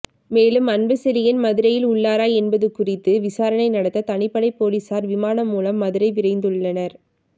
மேலும் அன்புசெழியன் மதுரையில் உள்ளாரா என்பது குறித்து விசாரணை நடத்த தனிப்படை போலீசார் விமானம் மூலம் மதுரை விரைந்துள்ளனர்